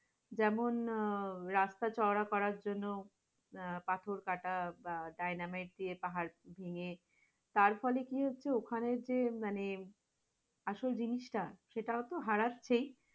যেমন আহ রাস্তা চওড়া করার জন্য আহ পাথর কাটা বা ডায়নামিক যে পাহাড় ভেঙ্গে, তারফলে কি হচ্ছে? ওখানে যে মানে আসল জিনিসটা সেটাও তো হারাচ্ছেই,